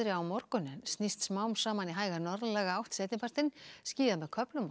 á morgun en snýst smám saman í hæga norðlæga átt seinni partinn skýjað með köflum og